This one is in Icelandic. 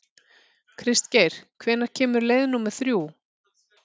Kristgeir, hvenær kemur leið númer þrjú?